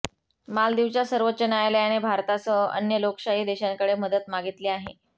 मालदीवच्या सर्वोच्च न्यायालयाने भारतासह अन्य लोकशाही देशांकडे मदत मागितली आहे